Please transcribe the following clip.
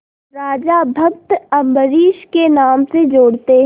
राजा भक्त अम्बरीश के नाम से जोड़ते हैं